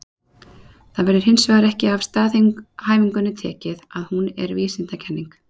Það verður hins vegar ekki af staðhæfingunni tekið að hún er vísindakenning.